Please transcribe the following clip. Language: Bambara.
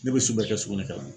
Ne be su bɛɛ kɛ sugunɛkɛ la.